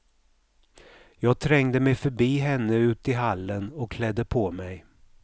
Jag trängde mig förbi henne ut i hallen och klädde på mig.